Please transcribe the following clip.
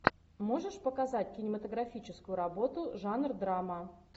можешь показать кинематографическую работу жанр драма